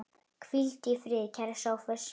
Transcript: Hvíldu í friði, kæri Sófus.